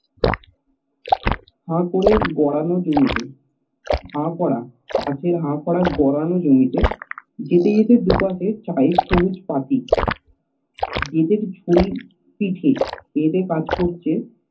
হা করে গরল জমিতে যেতে যেতে দু পাশে চা এর পাতি বেতের ঝুড়ি বেধে কাজ করছে